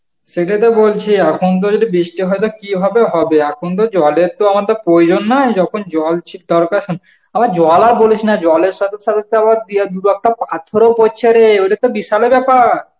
সেটাইতো বলছি, এখন তো যদি বৃষ্টি হয় তো কিভাবে হবে এখন তো জলের তো আমাদের প্রয়োজন না, যখন জল ছি~ দরকার, আবার জলাও বলিস না জলের সাথে সাথে তো আবার দিয়া দু-একটা পাথরও পরছে রে, ওটা তো বিশাল ব্যাপার